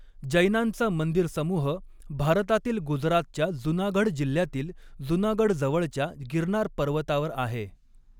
जैनांचा मंदिर समूह भारतातील गुजरातच्या जुनागढ जिल्ह्यातील जुनागढजवळच्या गिरनार पर्वतावर आहे.